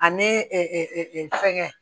Ani fɛngɛ